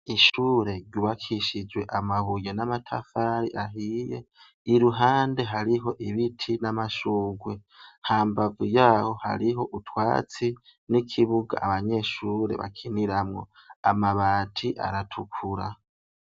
Ishure ryubakishijwe amabuye n'amatafari ahiye, iruhande hariho ibiti n'amashurwe, hambavu yaho hariho utwatsi n'ikibuga abanyeshure bakiniramwo, amabati aratukura.